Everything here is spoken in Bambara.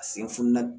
A sen fununa